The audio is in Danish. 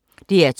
DR2